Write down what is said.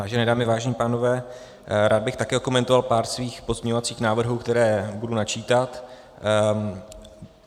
Vážené dámy, vážení pánové, rád bych taky okomentoval pár svých pozměňovacích návrhů, které budu načítat.